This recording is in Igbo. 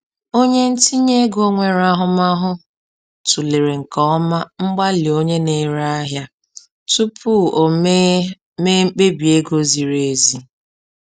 Onye ntinye ego nwere ahụmahụ tụlere nke ọma mgbalị onye na-ere ahịa tupu o mee mee mkpebi ego ziri ezi